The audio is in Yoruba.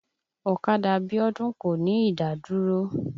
Ọ̀kadà Bíọ́dún kò ní ìdádúró.